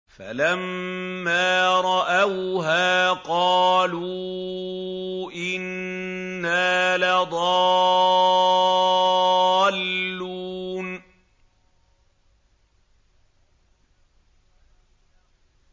فَلَمَّا رَأَوْهَا قَالُوا إِنَّا لَضَالُّونَ